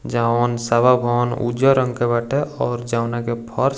जवन सभा भवन उज्जर रंग के बाटे और जॉउना के फर्स --